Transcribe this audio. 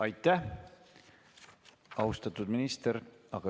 Aitäh, austatud minister!